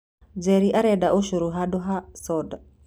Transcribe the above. Njeri arenda ucũrũ handũ ha soda.